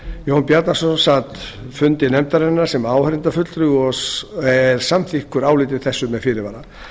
jón bjarnason sat fundi nefndarinnar sem áheyrnarfulltrúi og er samþykkur áliti þessu með fyrirvara